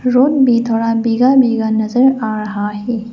Road भी थोड़ा भीगा भीगा नजर आ रहा है।